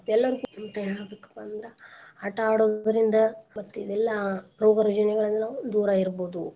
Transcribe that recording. ಏಲ್ಲರ್ಗೂ ಹೇಳ್ಬೇಕ್ಪಾ ಅಂದ್ರ ಆಟಾ ಆಡೋದ್ರಿಂದ ಮತ್ತಿದೆಲ್ಲಾ ರೋಗರುಜಿನೆ ಗಳನ್ನು ದೂರಾ ಇರ್ಬೋದು.